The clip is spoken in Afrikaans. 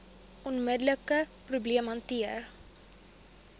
onmiddelike probleem hanteer